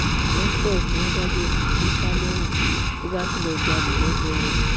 festus tí wọn dájọ ikú fún sá lẹwọn ló bá tún lọọ jalè lọgẹrẹ